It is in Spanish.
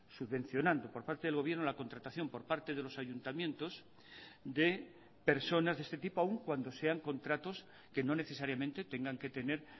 subvencionando por parte del gobierno la contratación por parte de los ayuntamientos de personas de este tipo aún cuando sean contratos que no necesariamente tengan que tener